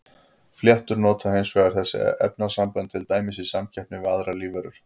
Fléttur nota hins vegar þessi efnasambönd til dæmis í samkeppninni við aðrar lífveru.